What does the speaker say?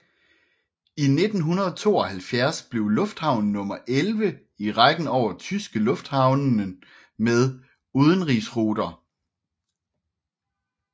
I 1972 blev lufthavnen nummer 11 i rækken over tyske lufthavnen med udenrigsruter